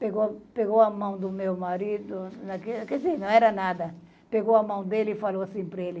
Pegou pegou a mão do meu marido, quer dizer, não era nada, pegou a mão dele e falou assim para ele,